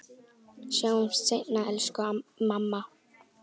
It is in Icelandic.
Sjáumst seinna, elsku mamma.